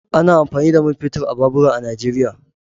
Ana amfani da man fetur a babura a Nijeriya.